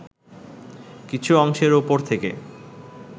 কিছু অংশের ওপর থেকে